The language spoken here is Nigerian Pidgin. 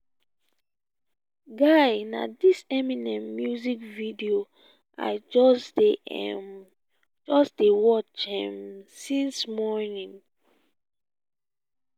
guy na dis eminem music video i just um dey watch since um morning morning